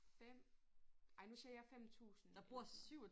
5 ej nu siger jeg 5000 eller sådan noget